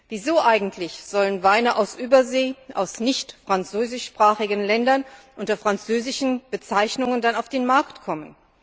Wieso eigentlich sollen Weine aus Übersee, aus nicht französischsprachigen Ländern, dann unter französischen Bezeichnungen auf den Markt kommen?